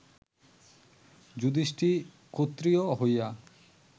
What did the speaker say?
যুধিষ্ঠির ক্ষত্রিয় হইয়া